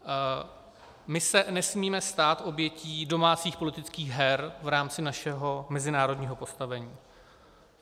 My se nesmíme stát obětí domácích politických her v rámci našeho mezinárodního postavení.